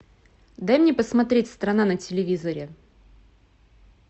дай мне посмотреть страна на телевизоре